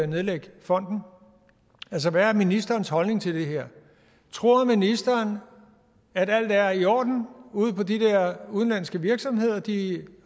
nedlægge fonden hvad er ministerens holdning til det her tror ministeren at alt er i orden ude på de der udenlandske virksomheder at de